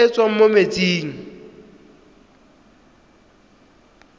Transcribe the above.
e e tswang mo metsing